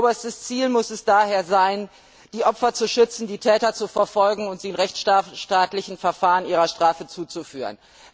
Oberstes Ziel muss es daher sein, die Opfer zu schützen, die Täter zu verfolgen und sie in rechtsstaatlichen Verfahren ihrer Strafe zuzuführen.